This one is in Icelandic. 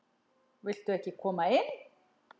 Viltu ekki koma inn?